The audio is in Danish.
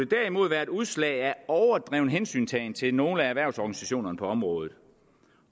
derimod være et udslag af overdreven hensyntagen til nogle af erhvervsorganisationerne på området